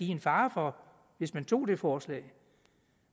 en fare for hvis man tog det forslag